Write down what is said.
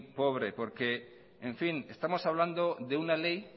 pobre porque estamos hablando de una ley